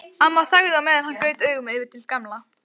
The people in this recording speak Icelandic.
Amma þagði á meðan en gaut augunum yfir til Gamla.